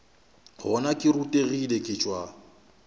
gona ke rutegile ke tšwa